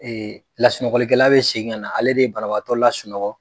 lasunɔgɔlikɛla bɛ segin ka na, ale de ye banabaatɔ lasunɔgɔ.